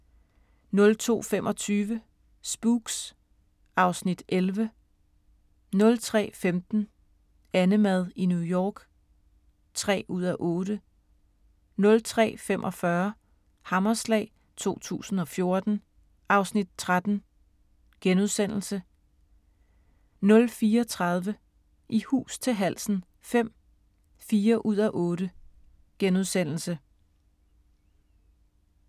02:25: Spooks (Afs. 11) 03:15: AnneMad i New York (3:8) 03:45: Hammerslag 2014 (Afs. 13)* 04:30: I hus til halsen V (4:8)*